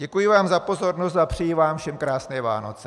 Děkuji vám za pozornost a přeji vám všem krásné Vánoce.